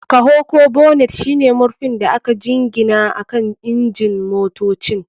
Kaho ko bonnet shine murfin da aka jingina akan injin motocin.